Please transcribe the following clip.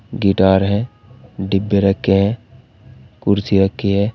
Guitar है डिब्बे रखे है कुर्सी रखी है।